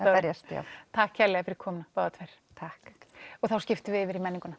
að berjast takk kærlega fyrir komuna takk og þá skiptum við yfir í menninguna